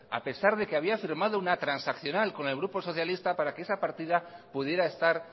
a pesar de que había firmado una transaccional con el grupo socialista para que esa partida pudiera estar